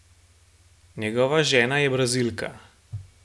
Njegova žena je Brazilka.